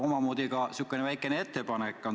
Mul on teile küsimus ja ka omamoodi väikene ettepanek.